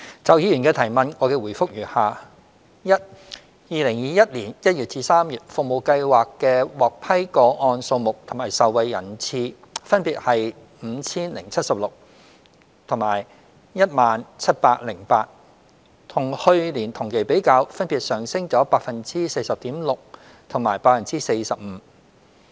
就議員的質詢，我的答覆如下：一2021年1月至3月，服務計劃的獲批個案數目及受惠人次分別為 5,076 及 10,708， 與去年同期比較，分別上升 40.6% 及 45%。